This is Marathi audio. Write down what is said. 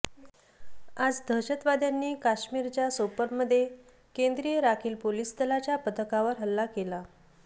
आज दहशतवाद्यांनी काश्मीरच्या सोपोरमध्ये केंद्रीय राखील पोलीस दलाच्या पथकावर हल्ला केला